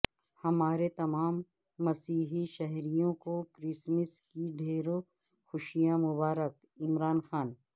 ہمارے تمام مسیحی شہریوں کو کرسمس کی ڈھیروں خوشیاں مبارک عمران خان